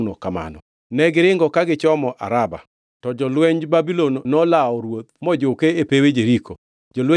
to jolwenj Babulon nolawo ruoth mojuke e pewe Jeriko. Jolwenje duto noringo oweye moke,